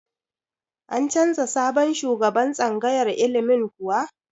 An canza sabon shugaban tsangayar ilimin kuwa?